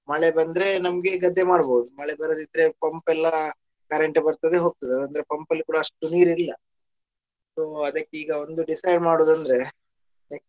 ಮಳೆ ಬಂದ್ರೆ ನಮ್ಗೆ ಗದ್ದೆ ಮಾಡ್ಬೋದು ಮಳೆ ಬರದಿದ್ರೆ pump ಎಲ್ಲಾ current ಬರ್ತದೆ ಹೋಗ್ತದೆ pump ಅಲ್ಲಿ ಕೂಡಾ ಅಷ್ಟು ನೀರ್ ಇಲ್ಲ so ಅದಕ್ಕೀಗ ಒಂದು decide ಮಾಡುದಂದ್ರೆ.